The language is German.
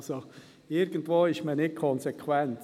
Also ist man irgendwo nicht konsequent.